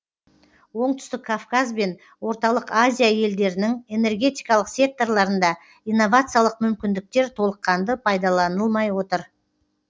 оңтүстік кавказ бен орталық азия елдерінің энергетикалық секторларында инновациялық мүмкіндіктер толыққанды пайдаланылмай отыр